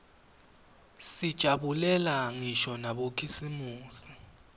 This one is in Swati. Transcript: sijabulela ngisho nabokhisimusi